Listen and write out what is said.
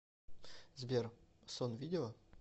сбер сон видела